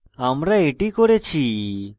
এখন আমি এটি করেছি